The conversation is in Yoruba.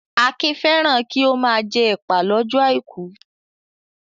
Akin fẹ́ràn kí ó máa jẹ ẹ̀pà lọ́jọ́ àìkú.